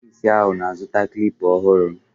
Ọkpụ isi ahụ na-azụta Klipa ọhụrụ